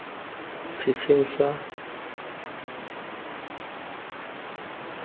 setsheng sa rona re na